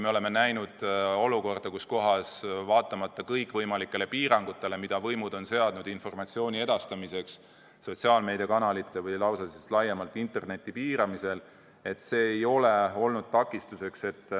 Me oleme näinud olukorda, kus vaatamata kõikvõimalikele piirangutele, mis võimud on seadnud informatsiooni edastamiseks sotsiaalmeediakanalite või kehtestanud lausa laiemalt interneti piiramisel, see ei ole olnud takistuseks.